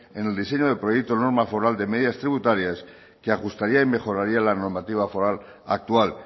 en el diseño del proyecto de norma foral de medidas tributarias que ajustaría y mejoraría la normativa foral actual